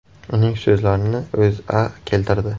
Uning so‘zlarini O‘zA keltirdi .